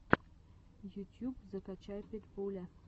ютьюб закачай питбуля